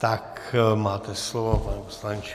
Tak máte slovo, pane poslanče.